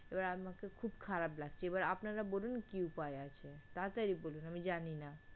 এবার আমার খুব খারাপ লাগছে। এবার আপনারা বলুন কি উপায় আছে? তাড়া তাড়ি বলুন আমি জানিনা।